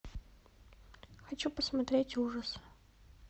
хочу посмотреть ужасы